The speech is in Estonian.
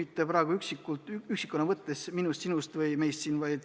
See ei sõltu üksikuna võttes minust, sinust või meist siin.